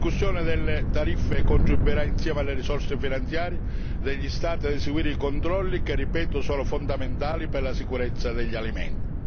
La riscossione delle tariffe contribuirà, insieme alle risorse finanziarie degli Stati, ad eseguire i controlli che lo ribadisco sono fondamentali per la sicurezza degli alimenti.